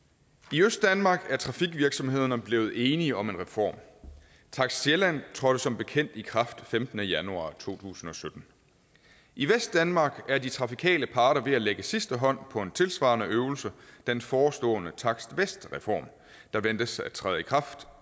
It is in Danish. i østdanmark er trafikvirksomhederne blevet enige om en reform takst sjælland trådte som bekendt i kraft den femtende januar to tusind og sytten i vestdanmark er de trafikale parter ved at lægge sidste hånd på en tilsvarende øvelse den forestående takst vest reform der ventes at træde i kraft